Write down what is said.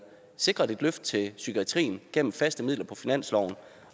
sikret et løft til psykiatrien gennem faste midler på finansloven